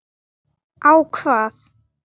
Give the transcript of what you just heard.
Á hvað?